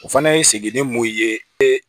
O fana ye sigini m'o ye e